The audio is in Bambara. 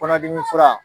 Kɔnɔdimi fura